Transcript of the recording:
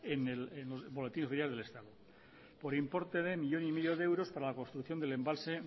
en el boletín oficial del estado por importe uno coma cinco euros para la construcción del embalse